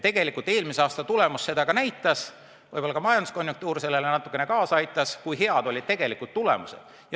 Tegelikult eelmise aasta tulemus ka näitas, võib-olla majanduskonjunktuur aitas ka natukene kaasa sellele, kui head olid tegelikud tulemused.